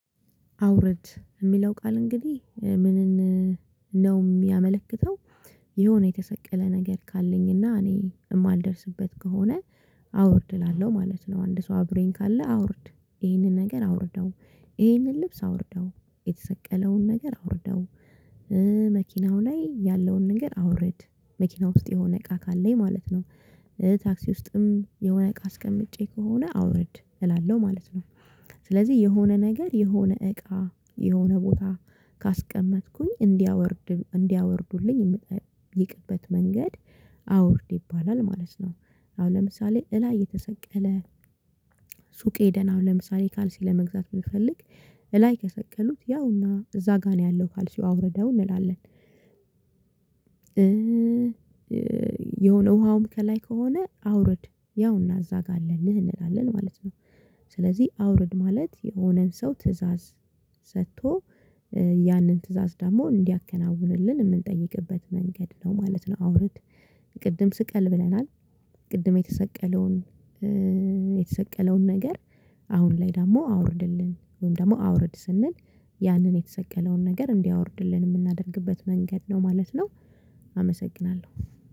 አውርድ ሚለው ቃል እንግዲህ ምንን ነው ሚያመለክተው? የሆነ የተሰቀለ ነገር ካለኝና እኔ ማልደርስበት ከሆነ አውርድ እላለሁ ማለት ነው። አንድ ሰው አብሮኝ ካለ አውርድ ይሄንን ነገር አውርደው ይሄንን ልብስ አውርደው የተሰቀለውን ነገር አውርደው መኪናው ላይ ያለውን ነገር አውርድ መኪና ውስጥ የሆነ እቃ ካለኝ ማለት ነው። ታክሲ ውስጥም የሆነ እቃ አስቀምጨ ከሆነ አውርድ እላለሁ ማለት ነው። ስለዚህ የሆነ ነገር የሆነ እቃ የሆነ ቦታ ካስቀመጥኩኝ እንዲያወርድ እንዲያወርዱልኝ የምጠይቅበት መንገድ አውርድ ይባላል ማለት ነው። አሁን ለምሳሌ እላይ የተሰቀለ ሱቅ ሄደን አሁን ለምሳሌ ካልሲ ለመግዛት ብንፈልግ እላይ ከሰቀሉት ያውና እዛ ጋር ነው ያለው ካልሲው አውርደው እንላለን። የሆነ ውሃውም ከላይ ከሆነ አውርድ ያውና እዛ ጋ አለልህ እንላለን ማለት ነው። ስለዚህ አውርድ ማለት የሆነን ሰው ትእዛዝ ሰቶ ያንን ትእዛዝ ደግሞ እንዲያከናውንልን ምንጠይቅበት መንገድ ነው ማለት ነው። አውርት ቅድም ስቀል ብለናል። ቅድም የተሰቀለውን የተሰቀለውን ነገር። አሁን ላይ ደግሞ አውርድልን ወይም ደግሞ አውርድ ስንል ያንን የተሰቀለውን ነገር እንዲያወርድልን ምናደርግበት መንገድ ነው ማለት ነው። አመሰግናለሁ